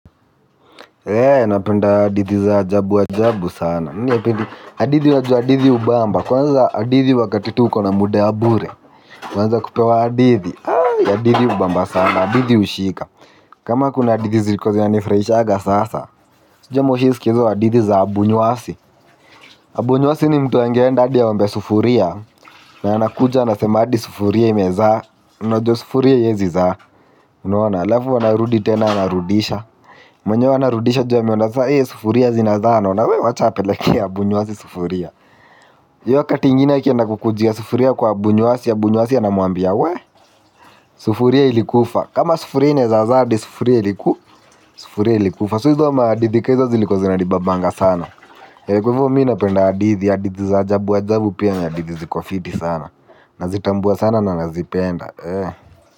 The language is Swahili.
Napenda hadithi za ajabu ajabu sana. Hadithi unajua hadithi hubamba kwanza hadithi wakati tu kona muda wabure kwanza kupewa hadithi, hadithi hubamba sana hadithi hushika. Kama kuna hadithi zilikuwa zinanifurahisha sasa. Sijui kama umeshawahi kusikia hizo hadithi za Abuu nwasi Abu nwasi ni mtu angeenda hadia aombe sufuria na anakuja anasema hadi sufuria imezaa, unajwa sufuria haiwezi zaa. Alafu anarudi tena anarudisha. Mwenyewe ana rudisha juu amona ee sufuria zinazaa wacha apeleke kwa Abuu nwasi sufuria, juu hiyo wakati ingine akienda kukujia sufuria kwa Abuu nwasi, Abuu nwasi anamwambia we. Sufuria ilikufa. Kama sufuria inaweza zaa basi pia inaweza kufa, sasa hizo hadithi ndizo zilikuwa zinnifurahisha sana. Eee kwa hivyo mimi na penda hadithi za ajabu ajabu pia na hadithi zingine sana. Nazitambua sana na nazipenda eee.